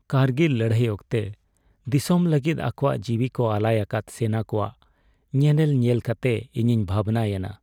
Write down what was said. ᱠᱟᱨᱜᱤᱞ ᱞᱟᱹᱲᱦᱟᱹᱭ ᱚᱠᱛᱮ ᱫᱤᱥᱚᱢ ᱞᱟᱹᱜᱤᱫ ᱟᱠᱚᱣᱟᱜ ᱡᱤᱣᱤ ᱠᱚ ᱟᱞᱟᱭ ᱟᱠᱟᱫ ᱥᱮᱱᱟ ᱠᱚᱣᱟᱜ ᱧᱮᱱᱮᱞ ᱧᱮᱞ ᱠᱟᱛᱮ ᱤᱧᱤᱧ ᱵᱷᱟᱹᱵᱤᱭᱮᱱᱟ ᱾